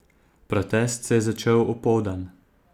Protest se je začel opoldan.